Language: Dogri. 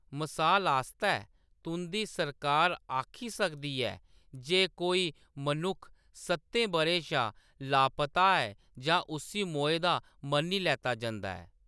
मसाल आस्तै, तुंʼदी सरकार आखी सकदी ऐ जे जे कोई मनुक्ख सʼत्तें बʼरें शा लापता ऐ तां उस्सी मोए दा मन्नी लैता जंदा ऐ।